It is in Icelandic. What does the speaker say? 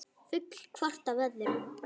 Full hvort af öðru.